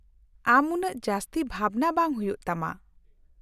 -ᱟᱢ ᱩᱱᱟ.ᱜ ᱡᱟᱥᱛᱤ ᱵᱷᱟᱵᱱᱟ ᱵᱟᱝ ᱦᱩᱭᱩᱜ ᱛᱟᱢᱟ !